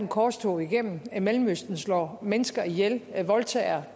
korstog igennem mellemøsten slår mennesker ihjel voldtager